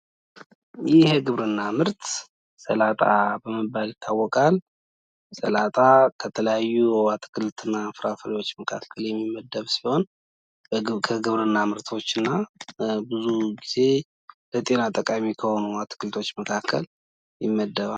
ይህ የግብርና ምርት ሰላጣ የሚባል ሲሆን፤ ሰላጣ ከተለያዩ የግብርና ምርቶች መካከል የሚመደብ ሲሆን፤ ለጤና ጠቃሚ ከሆኑ አትክልቶች ይመደባል።